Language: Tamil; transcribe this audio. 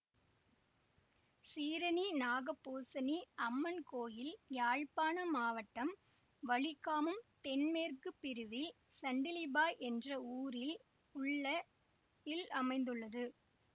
சீரணி நாகபூசணி அம்மன் கோயில் யாழ்ப்பாணம் மாவட்டம் வலிகாமம் தென்மேற்கு பிரிவில் சண்டிலிப்பாய் என்ற ஊரில் உள்ள யில் அமைந்துள்ளது